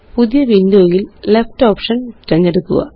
പുതിയwindowയില് left option തിരഞ്ഞെടുക്കുക